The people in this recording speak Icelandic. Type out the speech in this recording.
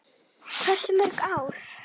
Hversu mörg ár?